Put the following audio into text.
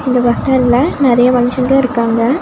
இந்த பஸ் ஸ்டாண்ட்ல நறைய மனுஷங்க இருக்காங்க.